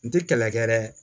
N tɛ kɛlɛ kɛ dɛ